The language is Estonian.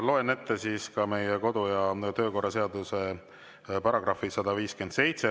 Loen ette meie kodu- ja töökorra seaduse § 157.